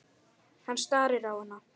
Hann starir á hana.